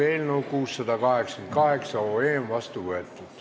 Eelnõu 688 on otsusena vastu võetud.